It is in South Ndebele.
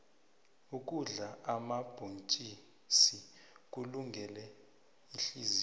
ukudla omabhontjisi kulungele ihliziyo